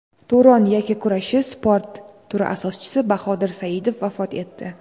Turon yakkakurashi sport turi asoschisi Bahodir Saidov vafot etdi.